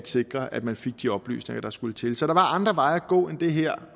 sikret at man fik de oplysninger der skulle til så der var andre veje at gå end den her